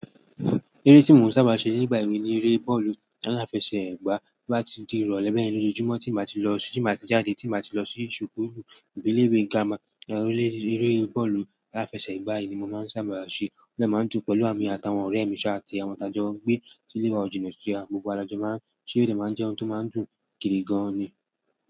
Eré tí mò ń sábà ṣe nígbà èwe ni eré bọ́ọ̀lù taláfẹsẹ̀gbá. To bá ti di ìrọ̀lẹ́ bẹ́yẹ̀n ní ojojúmọ́ tí n bá ti lọ sí, tí n bá ti jáde, tí n bá ti lọ sí ṣukuulú àbí ile ìwé girama, eré, eré bọ́ọ̀lù aláfẹsẹ̀gbá yìí ni mò máa ń sábà ṣe. Ó dà máa ń dùn pẹ̀lú emi àtàwọn ọ̀rẹ́ mi ṣáà àti àwọn tàjọ́ọ́ n gbé tí ilé wa òjìna síra, gbogbo wa lajò máa ń ṣe, ó de máa ń jẹ́ ohun tó máa ń dùn gidi gan-an ni.